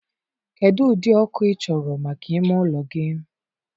kedụ ụdị ọkụ ị chọrọ maka ime ụlọ gị?